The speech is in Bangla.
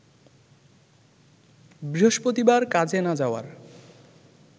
বৃহস্পতিবার কাজে না যাওয়ার